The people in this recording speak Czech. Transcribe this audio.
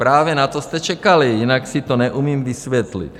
Právě na to jste čekali, jinak si to neumím vysvětlit.